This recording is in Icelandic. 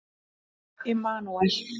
Immanúel